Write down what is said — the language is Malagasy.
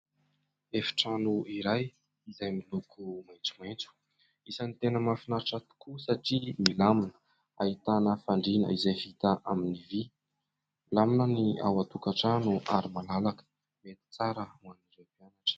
Efitrano iray izay miloko maitsomaitso, isan'ny tena mahafinaritra tokoa satria milamina, ahitana fandriana izay vita amin'ny vy. Milamina ny ao an-tokantrano ary malalaka, mety tsara ho an'ireo mpianatra.